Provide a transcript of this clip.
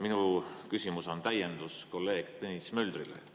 Minu küsimus on täiendus kolleeg Tõnis Möldri küsimusele.